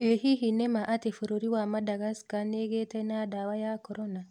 ĩ hihi nĩma atĩ bũrũr wa Madagascar nĩgĩte na dawa ya korona.